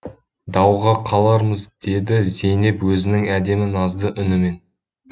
дауға қалармыз деді зейнеп өзінің әдемі назды үнімен